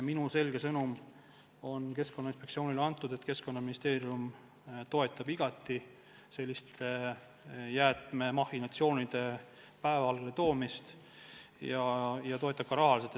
Minu selge sõnum on Keskkonnainspektsioonile antud: Keskkonnaministeerium toetab igati selliste jäätmemahhinatsioonide päevavalgele toomist, ja toetab seda ka rahaliselt.